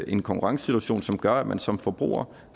en konkurrencesituation som gør at man som forbruger